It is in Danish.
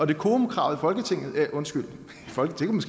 decorumkravet i folketinget undskyld folketinget